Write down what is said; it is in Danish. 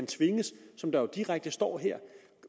tvinges som der direkte står her